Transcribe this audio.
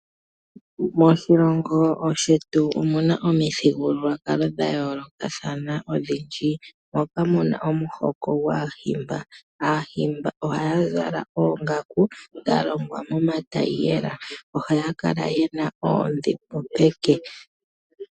Moshilongo shetu omuna omithigululwakalo dha yoolokathana odhindji. Omuna omuhoko gwaahimba. Aahimba ohaya zala oongaku dha longwa momatayiyela. Ohaya kala yena oondhimbo peke.